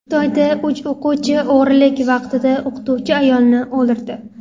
Xitoyda uch o‘quvchi o‘g‘rilik vaqtida o‘qituvchi ayolni o‘ldirdi.